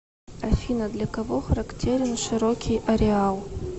афина для кого характерен широкий ареал